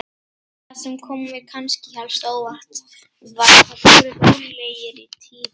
Það sem kom mér kannski helst á óvart var hvað þeir voru rólegir í tíðinni.